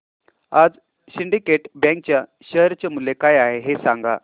आज syndicate bank च्या share चे मूल्य काय आहे हे सांगा